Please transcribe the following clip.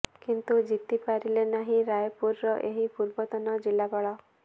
କିନ୍ତୁ ଜିତି ପାରିଲେ ନାହିଁ ରାୟପୁରର ଏହି ପୂର୍ବତନ ଜିଲ୍ଲାପାଳ